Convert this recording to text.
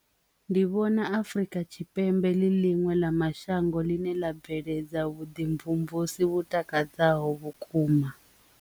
Ndi vhona Afurika Tshipembe ḽi ḽiṅwe ḽa mashango ḽine ḽa bveledza vhuḓimvumvusa vhu takadzaho vhukuma.